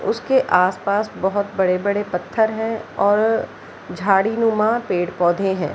उसके आस-पास बहुत बड़े-बड़े पत्थर है और झाड़ी नुमा पेड़-पौधे है।